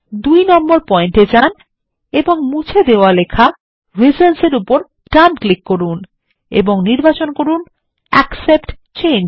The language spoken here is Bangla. ২ নম্বর পয়েন্ট এ যান এবং মুছে দেওয়া লেখা রিজনস এর উপর ডান ক্লিক করুন এবং নির্বাচন করুন অ্যাকসেপ্ট চেঞ্জ